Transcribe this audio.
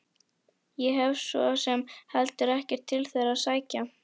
Ég hef svo sem heldur ekkert til þeirra að sækja.